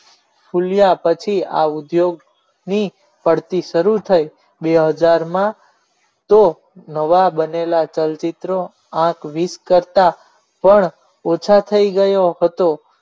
ફુલ્યા પછી આ ઉદ્યોગની પડતી શરૂ થઈ વીસ માં તો નવા બનેલા ચલચિત્રો આ બે કરતા પણ ઓછા થઈ ગયો હતો